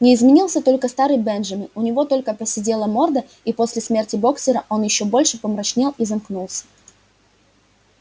не изменился только старый бенджамин у него только поседела морда и после смерти боксёра он ещё больше помрачнел и замкнулся